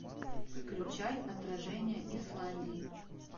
включай отражение исландии